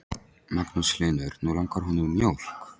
Magnús Hlynur: Nú langar honum í mjólk?